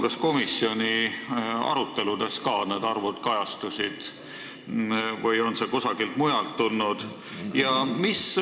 Kas komisjoni aruteludes ka need arvud kajastusid või on need kusagilt mujalt tulnud?